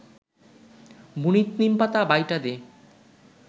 বুনিত নিমপাতা বাইটা দে